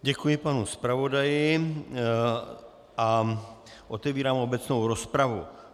Děkuji panu zpravodaji a otevírám obecnou rozpravu.